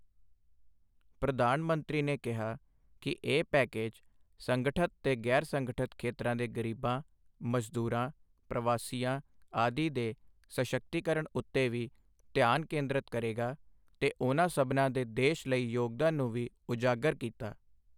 ਪ੍ਰਧਾਨ ਮੰਤਰੀ ਨੇ ਕਿਹਾ ਕਿ ਇਹ ਪੈਕੇਜ ਸੰਗਠਤ ਤੇ ਗ਼ੈਰ ਸੰਗਠਤ ਖੇਤਰਾਂ ਦੇ ਗ਼ਰੀਬਾਂ, ਮਜ਼ਦੂਰਾਂ, ਪ੍ਰਵਾਸੀਆਂ ਆਦਿ ਦੇ ਸਸ਼ੱਕਤੀਕਰਣ ਉੱਤੇ ਵੀ ਧਿਆਨ ਕੇਂਦ੍ਰਿਤ ਕਰੇਗਾ ਤੇ ਉਨ੍ਹਾਂ ਸਭਨਾਂ ਦੇ ਦੇਸ਼ ਲਈ ਯੋਗਦਾਨ ਨੂੰ ਵੀ ਉਜਾਗਰ ਕੀਤਾ।